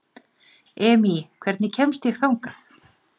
Emý, hvernig kemst ég þangað?